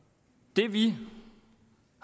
det vi